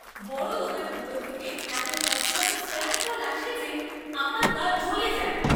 বড় দোকানগুলো থেকে, এতো ঘন ঘন স্প্যাম কল আসে যে আমার গা জ্বলে যায়!